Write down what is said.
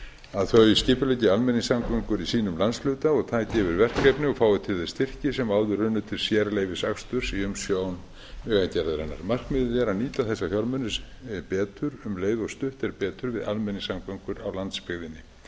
að þau skipuleggi almenningssamgöngur í sínum landshluta og taki við verkefnum og fái til þess styrki sem áður runnu til sérleyfisaksturs í umsjón vegagerðarinnar markmiðið er að nýta þessa fjármuni betur um leið og stutt er betur við almenningssamgöngur á landsbyggðinni